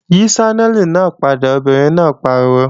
Yí Ṣánẹ́lì náà padà, obìnrin náà pariwo!